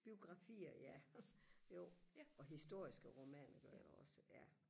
biografier ja jo og historiske romaner gør jeg også ja